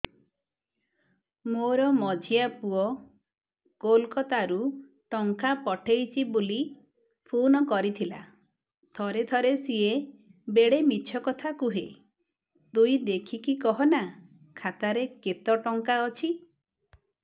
ମୋର ମଝିଆ ପୁଅ କୋଲକତା ରୁ ଟଙ୍କା ପଠେଇଚି ବୁଲି ଫୁନ କରିଥିଲା ଥରେ ଥରେ ସିଏ ବେଡେ ମିଛ କଥା କୁହେ ତୁଇ ଦେଖିକି କହନା ଖାତାରେ କେତ ଟଙ୍କା ଅଛି